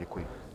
Děkuji.